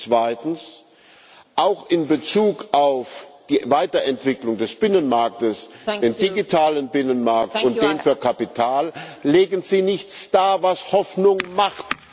Zweitens Auch in Bezug auf die Weiterentwicklung des Binnenmarktes, den digitalen Binnenmarkt und den für Kapital legen Sie nichts dar, was Hoffnung macht.